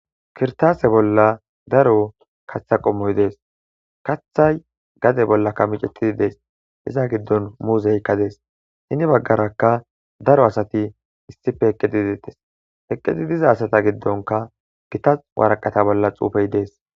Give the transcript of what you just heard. Kirtaase bolla daro katha qommoy dees kathay gade bollaka micetidi dees iza giddon muuzeykka dees hini baggarakka daro asati issife heqqedidettes heqqedi diza asata giddonka gitas waraqata bolla xuufey dees.